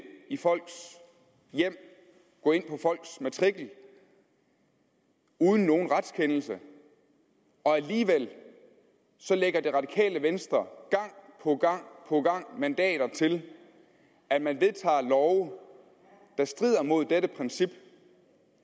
i folks hjem gå ind på folks matrikel uden nogen retskendelse og alligevel lægger det radikale venstre gang på gang på gang mandater til at man vedtager love der strider mod dette princip